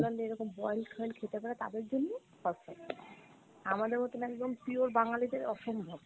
এরকম boil foil খেতে পারে তাদের জন্য perfect, আমাদের মতোন একদম pure বাঙালিদের অসম্ভব।